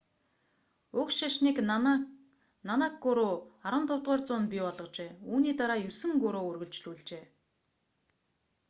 уг шашныг нанак гуру 1469–1539 15-р зуунд бий болгожээ. үүний дараа есөн гуру үргэлжлүүлжээ